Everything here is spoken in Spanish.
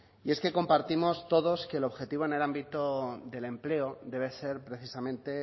y es que compartimos todos que el objetivo en el ámbito del empleo debe ser precisamente